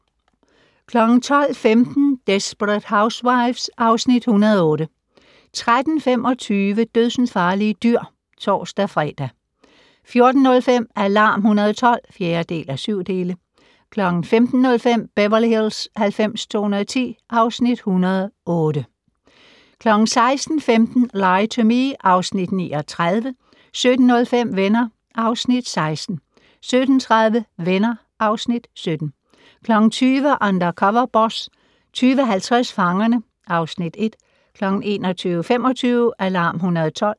12:15: Desperate Housewives (Afs. 108) 13:25: Dødsensfarlige dyr (tor-fre) 14:05: Alarm 112 (4:7) 15:05: Beverly Hills 90210 (Afs. 108) 16:15: Lie to Me (Afs. 39) 17:05: Venner (Afs. 16) 17:30: Venner (Afs. 17) 20:00: Undercover Boss 20:50: Fangerne (Afs. 1) 21:25: Alarm 112